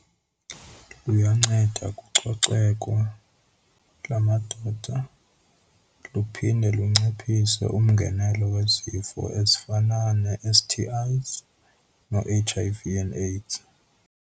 Luyanceda kucoceko lamagqwetha luphinde lunciphise umngenelo wezifo ezifana nee-S_T_Is noo-H_I_V and AIDS.